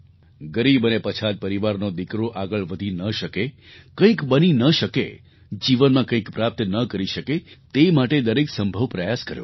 ગરીબ અને પછાત પરિવારનો દીકરો આગળ વધી ન શકે કંઈક બની ન શકે જીવનમાં કંઈક પ્રાપ્ત ન કરી શકે તે માટે દરેક સંભવ પ્રયાસ કર્યો